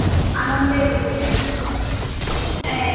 আনন্দের ঋতু। আহ